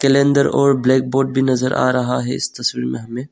Calendar और blackboard भी नजर आ रहा है इस तस्वीर में हमें।